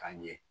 K'a ɲɛ